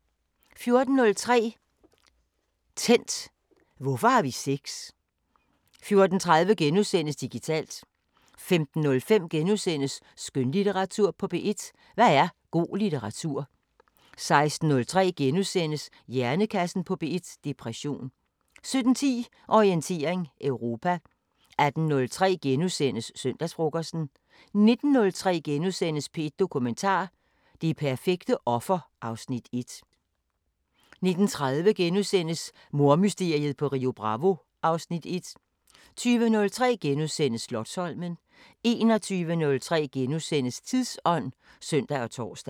14:03: Tændt: Hvorfor har vi sex? 14:30: Digitalt * 15:03: Skønlitteratur på P1: Hvad er god litteratur? * 16:03: Hjernekassen på P1: Depression * 17:10: Orientering Europa 18:03: Søndagsfrokosten * 19:03: P1 Dokumentar: Det perfekte offer (Afs. 1)* 19:30: Mordmysteriet på Rio Bravo (Afs. 1)* 20:03: Slotsholmen * 21:03: Tidsånd *(søn og tor)